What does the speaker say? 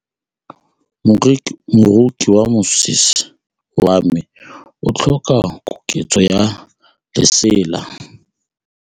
Moroki wa mosese wa me o tlhoka koketsô ya lesela.